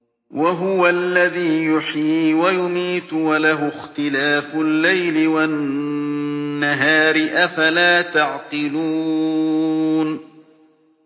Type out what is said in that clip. وَهُوَ الَّذِي يُحْيِي وَيُمِيتُ وَلَهُ اخْتِلَافُ اللَّيْلِ وَالنَّهَارِ ۚ أَفَلَا تَعْقِلُونَ